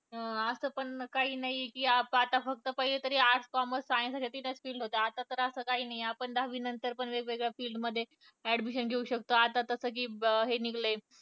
अह असं पण काही नाही कि आता फक्त पहिले तर arts, commerce, science या काही field होत्या. आता तर असे काही नाही आपण दहावी नंतर पण आपण वेगवेगळ्या field मध्ये admission घेऊ शकतो आता तसं कि हे निघलय.